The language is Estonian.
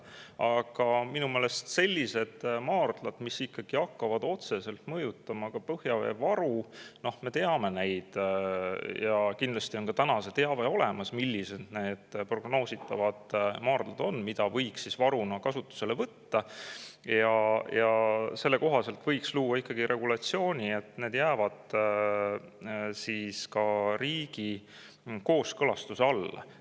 Aga minu meelest selliste maardlate jaoks, mis hakkavad otseselt mõjutama ka põhjaveevaru – me teame neid ja kindlasti on see teave olemas, millised need prognoositavad maardlad on, mida võiks varuna kasutusele võtta –, võiks ikkagi luua regulatsiooni, nii et need jääksid riigi kooskõlastuse alla.